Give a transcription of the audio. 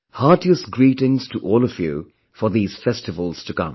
Heartiest greetings to all of you for these festivals to come